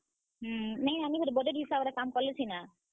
ହୁଁ ନାଇଁ ଆନିକରି budget ହିସାବ୍ ରେ କାମ୍ କଲେ ସିନା।